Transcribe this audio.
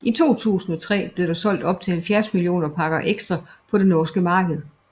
I 2003 blev der solgt op til 70 millioner pakker Extra på det norske marked